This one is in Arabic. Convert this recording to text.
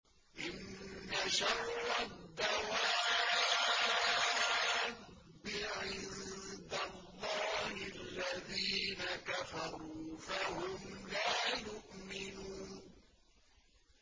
إِنَّ شَرَّ الدَّوَابِّ عِندَ اللَّهِ الَّذِينَ كَفَرُوا فَهُمْ لَا يُؤْمِنُونَ